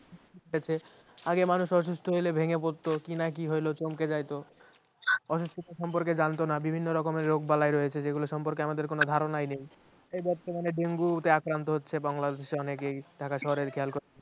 আগে মানুষ অসুস্থ হলে ভেঙে পড়তো কি না কি হলো চমকে যেত অসুস্থতা সম্পর্কে জানতো না বিভিন্ন রকমের রোগ বালাই রয়েছে যেগুলো সম্পর্কে আমাদের কোনো ধারণা নেই এই বর্তমানে ডেঙ্গুতে আক্রান্ত হচ্ছে বাংলাদেশের অনেকই ঢাকা শহরে খেয়াল